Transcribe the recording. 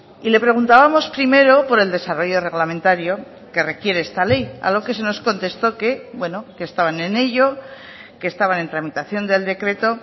y le preguntábamos primero por el desarrollo reglamentario que requiere esta ley a lo que se nos contestó que bueno que estaban en ello que estaban en tramitación del decreto